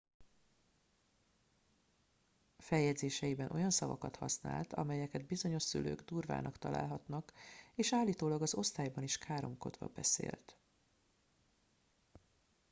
feljegyzéseiben olyan szavakat használt amelyeket bizonyos szülők durvának találhatnak és állítólag az osztályban is káromkodva beszélt